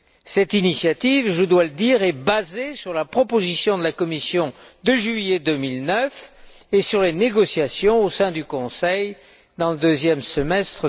Cette initiative, je dois le dire, est basée sur la proposition de la Commission de juillet 2009 et sur les négociations menées au sein du Conseil au cours du deuxième semestre